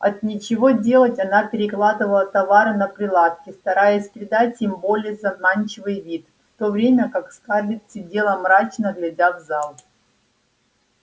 от нечего делать она перекладывала товары на прилавке стараясь придать им более заманчивый вид в то время как скарлетт сидела мрачно глядя в зал